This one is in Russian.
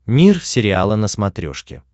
мир сериала на смотрешке